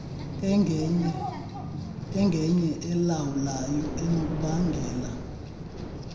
engenye elawulayo enokubangela